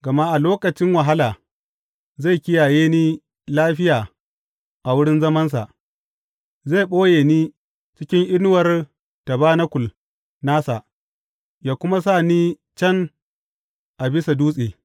Gama a lokacin wahala, zai kiyaye ni lafiya a wurin zamansa; zai ɓoye ni cikin inuwar tabanakul nasa ya kuma sa ni can a bisa dutse.